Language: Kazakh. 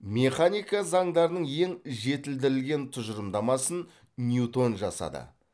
механика заңдарының ең жетілдірілген тұжырымдамасын и ньютон жасады